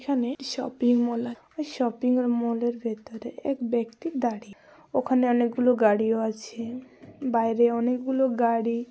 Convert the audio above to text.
এখানে shopping mall -আ shopping mall -এর ভেতরে এক ব্যক্তি দাঁড়িয়ে । ওখানে অনেকগুলো গাড়িও আছে বাইরে অনেকগুলো গাড়ি --